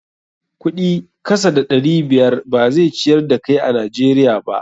Kuɗi kasa da ɗari biyar ba zai ciyar da kai a Najeriya ba.